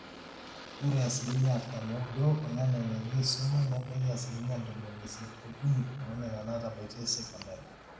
ore asilimia artam ooudo oonena neitu eisuma nebaiki asilimia ntomoni isiet ookuni oonena naatabaitie seokondari